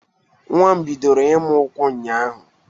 Nwa m bidoro ịma ụkwụ ụnyaahụ